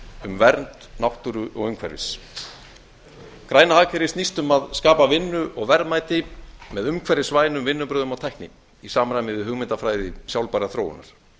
um vernd náttúru og umhverfis græna hagkerfið snýst um að skapa vinnu og verðmæti með umhverfisvænum vinnubrögðum og tækni í samræmi við hugmyndafræði sjálfbærrar þróunar